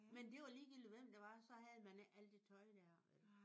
Men det var ligegyldigt hvem det var så havde man ikke alt det tøj der vel?